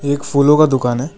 एक फूलों का दुकान है।